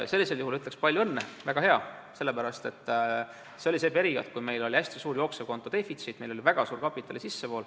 Sellisel juhul ütleks: "Palju õnne, väga hea!", sellepärast et see oli periood, kui meil oli hästi suur jooksevkonto defitsiit, meil oli väga suur kapitali sissevool.